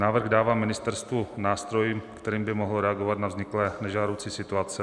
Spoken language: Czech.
Návrh dává ministerstvu nástroj, kterým by mohlo reagovat na vzniklé nežádoucí situace.